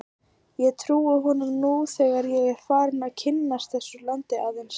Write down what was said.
Og ég trúi honum nú þegar ég er farinn að kynnast þessu landi aðeins.